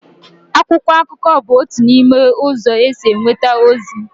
akwụkwọ akụkọ bụ otu n'ime ụzọ e si enweta ozi